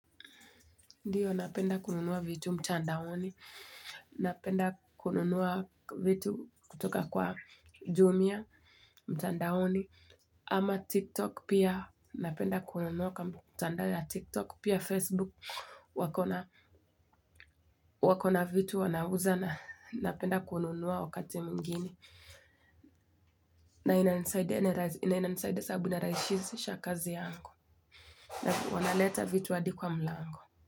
Ndiyo, napenda kununua vitu mtandaoni. Napenda kununua vitu kutoka kwa jumia mtandaoni. Ama TikTok pia napenda kununua kwa mtandao ya TikTok pia Facebook wako na wako na vitu wanauza na napenda kununua wakati mwingine. Na inanisaidia sababu ina rahisisha kazi yangu. Na wanaleta vitu hadi kwa mlango.